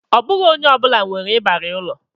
Ọ bụghị onye ọ bụla nwere ịbarị ụlọ